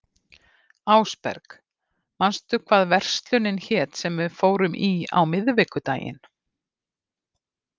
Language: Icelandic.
Ásberg, manstu hvað verslunin hét sem við fórum í á miðvikudaginn?